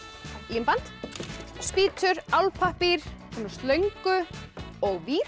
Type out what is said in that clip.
límband spýtur álpappír svona slöngu og vír